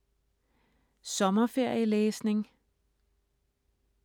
Sommerferielæsning